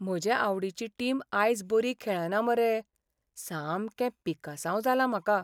म्हजे आवडीची टीम आयज बरी खेळना मरे. सामकें पिकासांव जालां म्हाका.